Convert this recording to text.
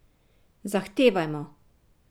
Zahtevajmo!